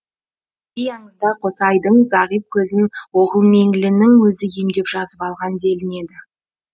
кей аңызда қосайдың зағип көзін оғылмеңлінің өзі емдеп жазып алған делінеді